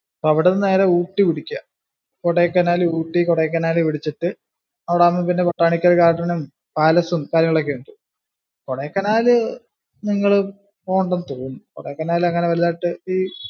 അപ്പൊ അവിടുന്ന് നേരെ ഊട്ടി പിടിക്കുക. കൊടൈക്കനാല് ഊട്ടി കൊടൈക്കനാല് പിടിച്ചിട്ടു. അവിടാകുമ്പോ പിന്നെ കൊട്ടാരക്കര garden ഉം palace ഉം കാര്യങ്ങൾ ഒക്കെ ഉണ്ട്. കൊടൈക്കനാല് നിങ്ങള് പോവേണ്ടന്നു തോന്നുന്നു. അങ്ങിനെ വലുതായിട്ടു